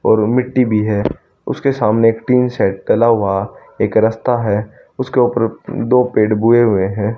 और मिट्टी भी है उसके सामने एक टीन सेट डला हुआ एक रास्ता है उसके ऊपर दो पेड़ बुए हुए हैं।